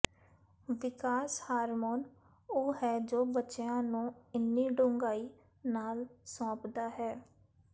ਵਿਕਾਸ hormone ਉਹ ਹੈ ਜੋ ਬੱਚਿਆਂ ਨੂੰ ਇੰਨੀ ਡੂੰਘਾਈ ਨਾਲ ਸੌਂਪਦਾ ਹੈ